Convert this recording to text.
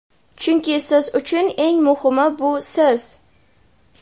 chunki siz uchun eng muhimi bu siz.